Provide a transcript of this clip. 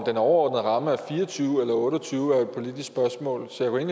den overordnede ramme er fire og tyve eller otte og tyve er jo et politisk spørgsmål så jeg